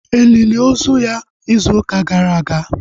E lili ozu ya izu ụka gara aga?